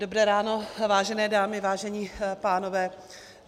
Dobré ráno, vážené dámy, vážení pánové.